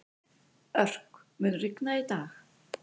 Örk, mun rigna í dag?